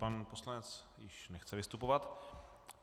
Pan poslanec již nechce vystupovat.